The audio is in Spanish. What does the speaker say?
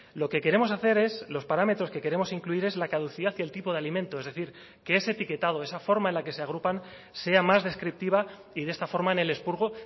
lo que queremos hacer es los parámetros que queremos incluir es la caducidad y el tipo de alimento es decir que ese etiquetado esa forma en la que se agrupan sea más descriptiva y de esta forma en el expurgo